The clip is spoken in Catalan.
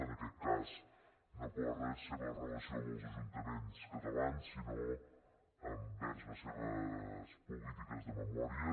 en aquest cas no per la seva relació amb els ajuntaments catalans sinó envers les seves polítiques de memòria